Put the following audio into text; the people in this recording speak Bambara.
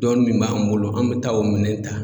Dɔɔni min b'an bolo an bɛ taa o minɛn ta.